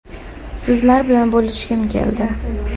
Sizlar bilan bo‘lishgim keldi”.